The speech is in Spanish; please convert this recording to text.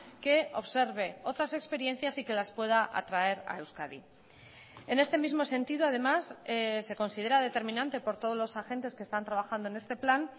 que observe otras experiencias y que las pueda atraer a euskadi en este mismo sentido además se considera determinante por todos los agentes que están trabajando en este plan